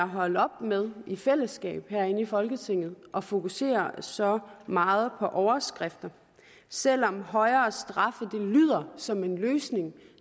holde op med i fællesskab herinde i folketinget at fokusere så meget på overskriften selv om højere straffe lyder som en løsning